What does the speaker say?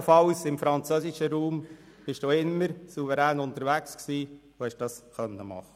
Ebenfalls waren Sie im französischen Raum souverän unterwegs und konnten dies machen.